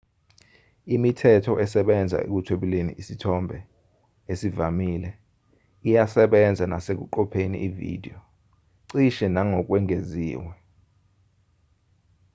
imithetho esebenza ekuthwebuleni isithombe esivamile iyasebenza nesekuqopheni ividiyo cishe nangokwengeziwe